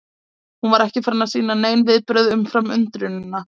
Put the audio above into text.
Hún var ekki farin að sýna nein viðbrögð umfram undrunina.